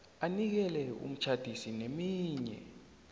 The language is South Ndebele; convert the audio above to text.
anikele umtjhadisi neminye